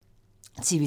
TV 2